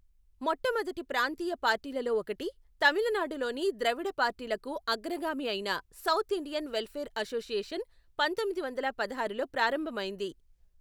మొట్టమొదటి ప్రాంతీయ పార్టీలలో ఒకటి, తమిళనాడులోని ద్రవిడ పార్టీలకు అగ్రగామి అయిన సౌత్ ఇండియన్ వెల్ఫేర్ అసోసియేషన్ పంతొమ్మిది వందల పదహారులో ప్రారంభమైంది.